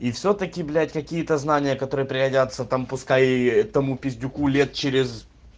и всё-таки блять какие-то знания которые пригодятся там пускай и этому пиздюку лет через